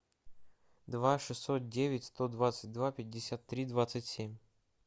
два шестьсот девять сто двадцать два пятьдесят три двадцать семь